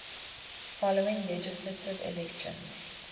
following legislative elections